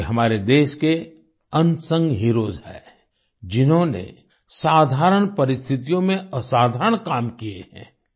ये हमारे देश के अनसंग हीरोज हैं जिन्होंने साधारण परिस्थितियों में असाधारण काम किए हैं